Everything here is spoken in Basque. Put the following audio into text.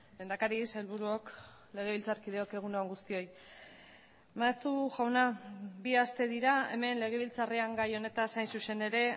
lehendakari sailburuok legebiltzarkideok egun on guztioi maeztu jauna bi aste dira hemen legebiltzarrean gai honetaz hain zuzen ere